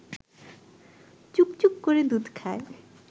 চুকচুক করে দুধ খায়